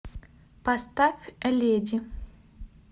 поставь леди